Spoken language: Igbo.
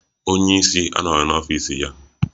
Onye ísí anoghi n'ọfịs ya.